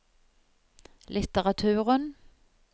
litteraturen